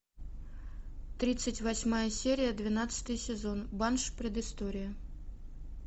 тридцать восьмая серия двенадцатый сезон банши предыстория